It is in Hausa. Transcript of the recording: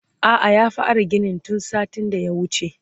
a'a ya fara ginin tun satin da ya wuce